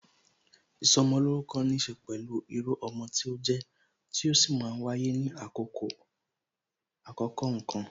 Ìsọmolórúkọ níse pẹ̀lú irú ọmọ tí ó jẹ, tí ó sì máa ń wáyé ní àkókò kan